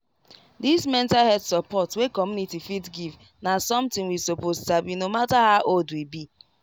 this mental health support wey community fit give na something we suppose sabi no matter how old we be